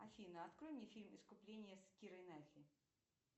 афина открой мне фильм искупление с кирой найтли